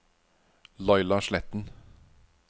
Laila Sletten